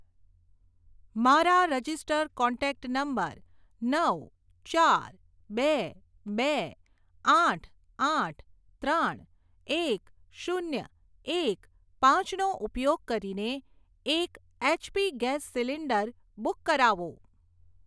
મારા registered contact number નવ ચાર બે બે આઠ આઠ ત્રણ એક શૂન્ય એક પાંચ નો ઉપયોગ કરીને એક એચપી ગેસ સીલિન્ડર બુક કરાવો.